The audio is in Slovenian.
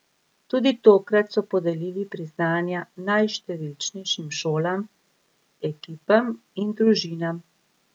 Tudi tokrat so podelili priznanja najštevilčnejšim šolam, ekipam in družinam.